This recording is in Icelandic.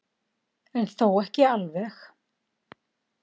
En þó ekki alveg.